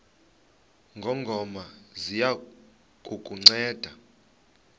ngongoma ziya kukunceda